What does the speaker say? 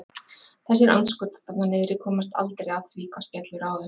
Þessir andskotar þarna niðri komast aldrei að því hvað skellur á þeim.